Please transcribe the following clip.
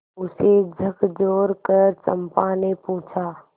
उसे झकझोरकर चंपा ने पूछा